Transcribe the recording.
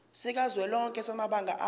sikazwelonke samabanga r